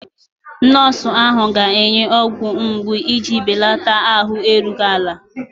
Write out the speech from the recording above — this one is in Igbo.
Nọọsụ ahụ ga-enye ọgwụ mgbu iji belata ahụ erughị ala.